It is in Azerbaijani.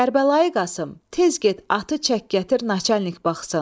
Kərbəlayı Qasım, tez get atı çək gətir naçalik baxsın.